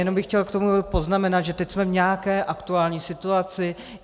Jenom bych chtěl k tomu poznamenat, že teď jsme v nějaké aktuální situaci.